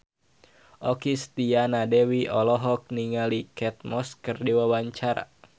Okky Setiana Dewi olohok ningali Kate Moss keur diwawancara